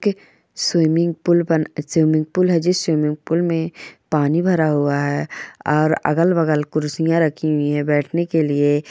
Swimming pool बना swimming pool है जिस स्विमिंग पूल में पानी भरा हुआ है और अगल-बगल कुर्सियां रखी हुई है बैठने के लिए।